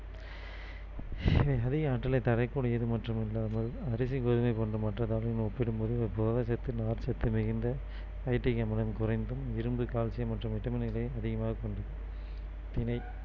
அதிக ஆற்றலை தரக்கூடியது மட்டுமல்லாமல் அரிசி, கோதுமை போன்ற மற்ற தானியங்களுடன் ஒப்பிடும்போது இது புரதச்சத்து நார்ச்சத்து மிகுந்த நைட்ரிக் அமிலம் குறைந்தும் இரும்பு, கால்சியம் மற்றும் விட்டமின்களை அதிகமாக கொண்டுள்ளது தினை